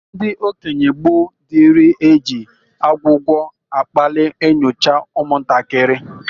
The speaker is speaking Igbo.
Ndị okenye gboo dịrị e ji agwụgwa akpalị enyouche ụmụntakịrị.